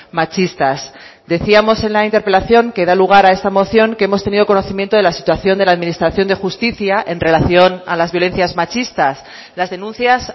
machistas decíamos en la interpelación que da lugar a esta moción que hemos tenido conocimiento de la situación de la administración de justicia en relación a las violencias machistas las denuncias